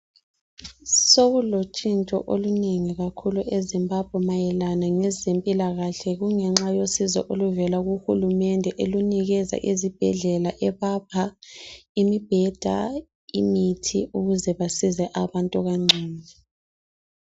Sokulotshintsho olunengi kakhulu eZimbabwe mayelana ngezempilakahle, kungenxa yosizo oluvela kuhulumende elunikeza izibhedlela ebapha imibheda, imithi ukuze basize abantu kangcono.